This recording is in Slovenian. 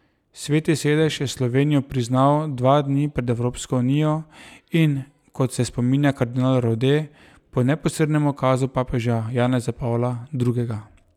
Sveti sedež je Slovenijo priznal dva dni pred Evropsko unijo in, kot se spominja kardinal Rode, po neposrednem ukazu papeža Janeza Pavla drugega.